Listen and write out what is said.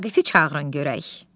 Vaqifi çağırın görək.